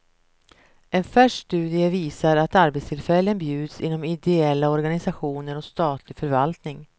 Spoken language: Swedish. En färsk studie visar att arbetstillfällen bjuds inom ideella organisationer och statlig förvaltning.